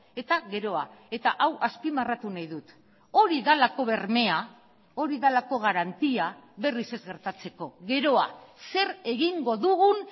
eta geroa eta hau azpimarratu nahi dut hori delako bermea hori delako garantia berriz ez gertatzeko geroa zer egingo dugun